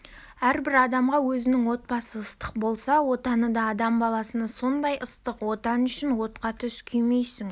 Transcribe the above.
әрбір адамға өзінің отбасы ыстық болса отаны да адам баласына сондай ыстық отан үшін отқа түс күймейсің